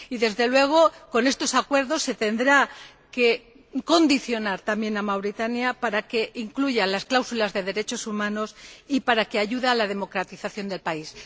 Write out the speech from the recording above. Desde luego, con estos acuerdos se tendrá que condicionar también al Gobierno de Mauritania para que incluya las cláusulas de derechos humanos y para que ayude a la democratización del país.